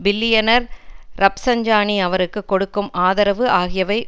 billionaire Rafsanjani அவருக்கு கொடுக்கும் ஆதரவு ஆகியவை